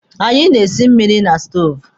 Anyị na-esi mmiri na stoovu.